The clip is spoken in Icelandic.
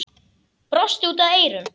Brosti út að eyrum.